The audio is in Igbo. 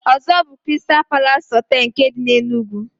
Ozo bu "Kristal Palas Hotel nke di n'Enugu.